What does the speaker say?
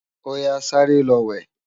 Óyá sàré lò wè